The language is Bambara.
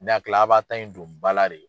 Ne hakili la a b'a ta in don ba la de.